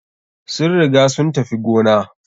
Sun riga sun tafi gona.